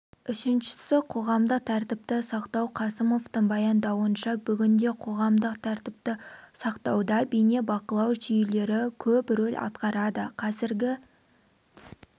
үшіншісі қоғамдық тәртіпті сақтау қасымовтың баяндауынша бүгінде қоғамдық тәртіпті сақтауда бейнебақылау жүйелері көп рөл атқарады қазіргі